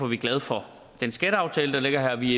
vi glade for den skatteaftale der ligger her vi